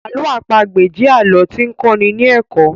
Àlọ àpagbè jẹ alọ ti n kọ́ ní ní ẹ̀kọ́